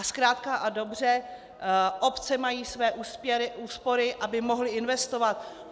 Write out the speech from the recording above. A zkrátka a dobře obce mají své úspory, aby mohly investovat.